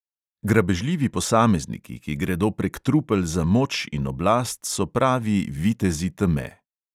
Grabežljivi posamezniki, ki gredo prek trupel za moč in oblast, so pravi vitezi teme.